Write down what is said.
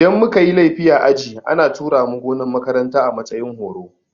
Idan muka yi laifi a aji ana tura mu gonan makarantar a matsayin horo